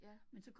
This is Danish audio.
Ja